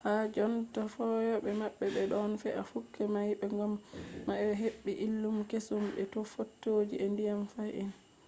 ha jonta feyoɓe may ɓe ɗon fe'a kuje may ko ngam ma be heɓɓi illmu keesum be fotoji je nyaɗum fahin